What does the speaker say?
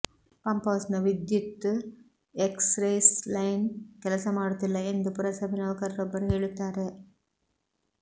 ಪಂಪ್ಹೌಸ್ನ ವಿದ್ಯುತ್ express line ಕೆಲಸ ಮಾಡುತ್ತಿಲ್ಲ ಎಂದು ಪುರಸಭೆ ನೌಕರರೊಬ್ಬರು ಹೇಳುತ್ತಾರೆ